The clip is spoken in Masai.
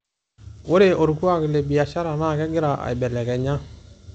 ore orkuak le biashara na kegira aibelekenya